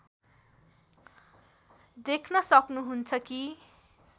देख्न सक्नुहुन्छ कि